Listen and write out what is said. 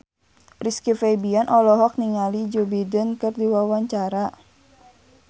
Rizky Febian olohok ningali Joe Biden keur diwawancara